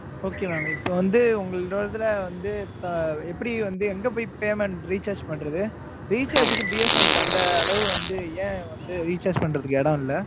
Okay mam இப்ப வந்து, உங்களோட இதுல வந்து, எப்படி வந்து, எங்க போய் payment recharge பண்றது? recharge க்கு, BSNL க்கு அந்த அளவு வந்து, ஏன் வந்து, recharge பண்றதுக்கு இடம் இல்லை?